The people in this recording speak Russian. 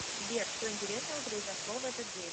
сбер что интересного произошло в этот день